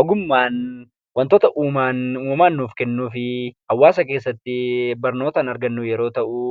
Ogummaan wantoota uumamaan uumaan nuuf kennuu fi hawwaasa keessatti barnootaan argannu yoo ta’u,